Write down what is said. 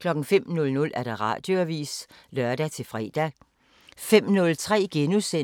05:00: Radioavisen (lør-fre)